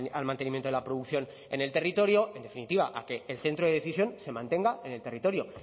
al mantenimiento de la producción en el territorio en definitiva a que el centro de decisión se mantenga en el territorio